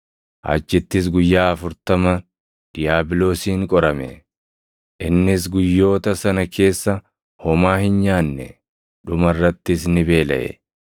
achittis guyyaa afurtama diiyaabiloosiin qorame. Innis guyyoota sana keessa homaa hin nyaanne; dhuma irrattis ni beelaʼe.